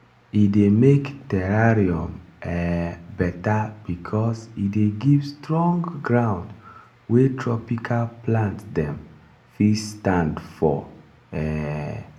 e dey make terrarium um better because e dey give strong ground wey tropical plant dem fit stand for. um